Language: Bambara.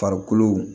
Farikolo